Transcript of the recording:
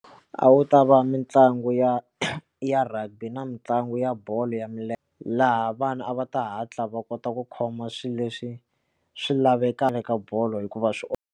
A wu ta va mitlangu ya ya rugby na mitlangu ya bolo ya milenge laha vana a va ta hatla va kota ku khoma swilo leswi swi lavekaka ka bolo hikuva swi .